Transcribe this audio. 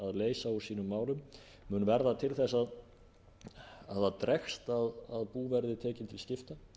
leysa úr sínum málum mun verða til þess að það dregst að bú verði tekin til skipta